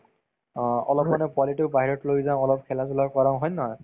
অ, অলপমানে পোৱালিতোক বাহিৰত লৈ যাওঁ অলপ খেলা-ধূলা কৰাওঁ হয় নে নহয়